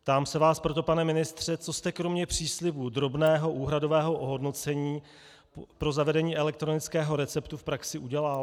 Ptám se vás proto, pane ministře, co jste kromě příslibu drobného úhradového ohodnocení pro zavedení elektronického receptu v praxi udělal.